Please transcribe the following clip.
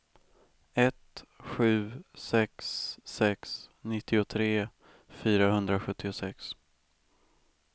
ett sju sex sex nittiotre fyrahundrasjuttiosex